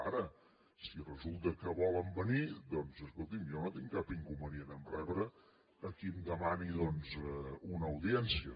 ara si resulta que volen venir doncs escolti’m jo no tinc cap inconvenient a rebre a qui em demani una audiència